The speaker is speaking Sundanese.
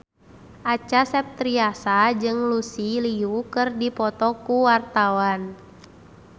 Acha Septriasa jeung Lucy Liu keur dipoto ku wartawan